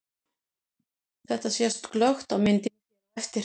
Þetta sést glöggt á myndinni hér á eftir.